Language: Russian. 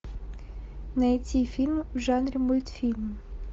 найти фильм в жанре мультфильм